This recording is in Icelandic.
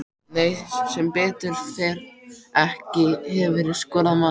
Nei sem betur fer ekki Hefurðu skorað mark?